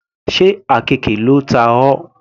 Sé àkekè ló ta ọ.